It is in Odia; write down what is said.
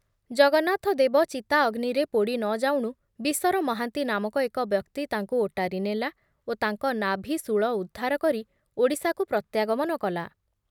ଜଗନ୍ନାଥ ଦେବ ଚିତା ଅଗ୍ନିରେ ପୋଡ଼ି ନ ଯାଉଣୁ ବିଶର ମହାନ୍ତି ନାମକ ଏକ ବ୍ୟକ୍ତି ତାଙ୍କୁ ଓଟାରି ନେଲା ଓ ତାଙ୍କ ନାଭି ସୁଳ ଉଦ୍ଧାର କରି ଓଡ଼ିଶାକୁ ପ୍ରତ୍ୟାଗମନ କଲା ।